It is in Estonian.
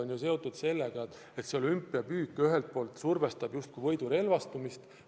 Ja see on seotud sellega, et olümpiapüük ühelt poolt justkui survestab võidurelvastumist.